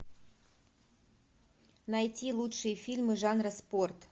найти лучшие фильмы жанра спорт